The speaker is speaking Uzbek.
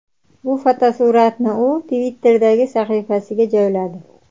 Bu fotosuratni u Twitter’dagi sahifasiga joyladi.